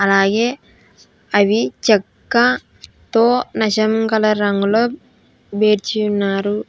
అలాగే అవి చెక్క తో నషం కలర్ రంగులో బేర్చి ఉన్నారు.